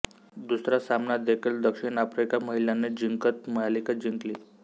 दुसरा सामना देखील दक्षिण आफ्रिका महिलांनी जिंकत मालिका जिंकली